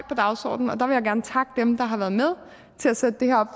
på dagsordenen og der vil jeg gerne takke dem der har været med til at sætte det her